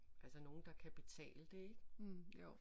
Altså nogen der kan betale det ik